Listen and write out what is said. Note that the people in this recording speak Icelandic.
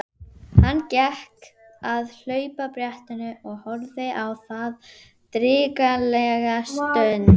Hann gekk að hlaupabrettinu og horfði á það drykklanga stund.